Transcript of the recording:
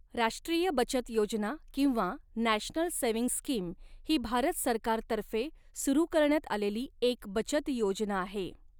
राष्ट्रीय बचत योजना किंवा नॅशनल सेव्हिंग स्किम ही भारत सरकारतर्फे सुरू करण्यात आलेली एक बचत योजना आहे.